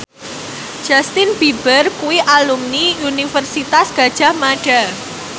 Justin Beiber kuwi alumni Universitas Gadjah Mada